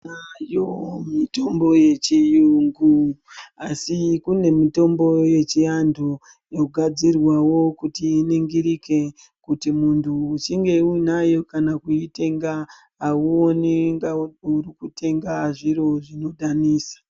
Nayo mitombo yechiyungu asi kune mitombo yechiantu yogadzirwawo kuti iningirike kuti muntu uchinge uinayo kana kuitenga auoni kunga uri kutenga zviro zvinodhanisa.